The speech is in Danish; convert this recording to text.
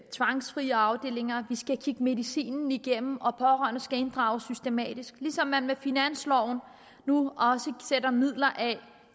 tvangsfrie afdelinger vi skal kigge medicinen igennem og pårørende skal inddrages systematisk ligesom man med finansloven nu også sætter midler af